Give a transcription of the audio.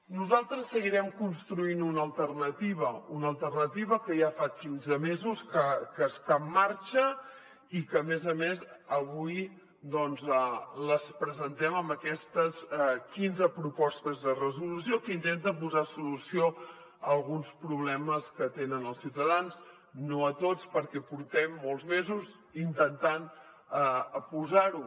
nosaltres seguirem construint una alternativa una alternativa que ja fa quinze mesos que està en marxa i que a més a més avui doncs la presentem amb aquestes quinze propostes de resolució que intenten posar solució a alguns problemes que tenen els ciutadans no a tots perquè portem molts mesos intentant posar ho